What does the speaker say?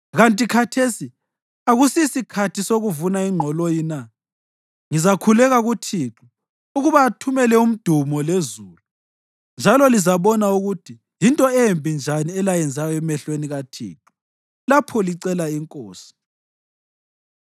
Kanti khathesi akusisikhathi sokuvuna ingqoloyi na? Ngizakhuleka kuThixo ukuba athumele umdumo lezulu. Njalo lizabona ukuthi yinto embi njani elayenzayo emehlweni kaThixo lapho licela inkosi.”